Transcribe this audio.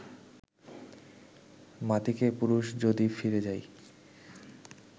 মাতিকে পুরুষ যদি ফিরে যায়